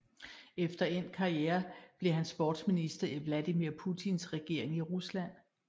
Efter endt karriere blev han sportsminister i Vladimir Putins regering i Rusland